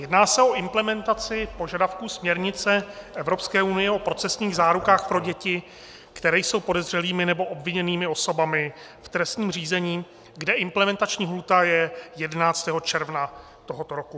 Jedná se o implementaci požadavků směrnice Evropské unie o procesních zárukách pro děti, které jsou podezřelými nebo obviněnými osobami v trestním řízení, kde implementační lhůta je 11. června tohoto roku.